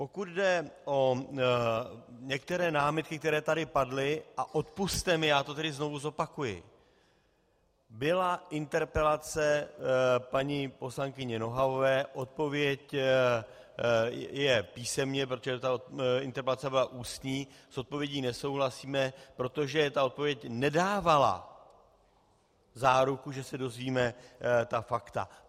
Pokud jde o některé námitky, které tady padly, a odpusťte mi, já to tedy znovu zopakuji: Byla interpelace paní poslankyně Nohavové, odpověď je písemně, protože ta interpelace byla ústní, s odpovědí nesouhlasíme, protože ta odpověď nedávala záruku, že se dozvíme ta fakta.